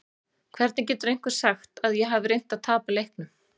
Hvernig getur einhver sagt að ég hafi reynt að tapa leiknum?